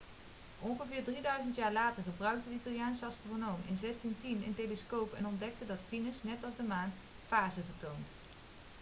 ongeveer drieduizend jaar later gebruikte de italiaanse astronoom in 1610 een telescoop en ontdekte dat venus net als de maan fasen vertoont